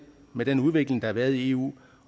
med den udvikling der har været i eu